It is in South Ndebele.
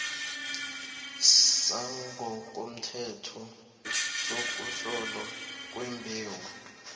sangokomthetho sokuhlolwa kwembewu